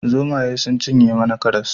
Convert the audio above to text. Zomaye sun cinye mana karas